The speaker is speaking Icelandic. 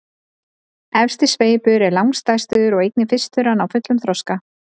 efsti sveipur er langstærstur og einnig fyrstur að ná fullum þroska